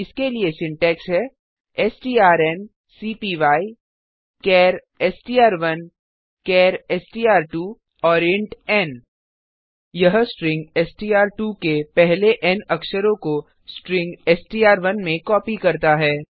इसके लिए सिंटैक्स है strncpyचार STR one char STR two and int n यह स्ट्रिंग एसटीआर2 के पहले के एन अक्षरों को स्ट्रिंग एसटीआर1 में कॉपी करता है